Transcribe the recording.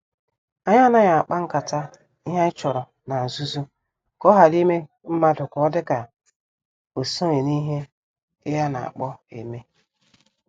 Anyị anaghị akpa nkata ihe anyị chọrọ na-nzuzo ka ohara ime mmadụ ka ọ dị ka osoghi n' ihe I ana kpo eme.